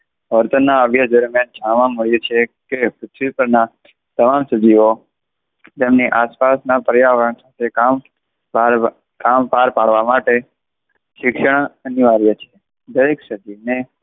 વર્તનના જાણવા મળ્યું છે કે પૃથ્વી પરના તમામ સજીવો તેમની આસપાસના પર્યાવરણ સાથે કામ કામ પાર પાડવા માટે શિક્ષણ અનિવાર્ય છે. દરેક સજીવને,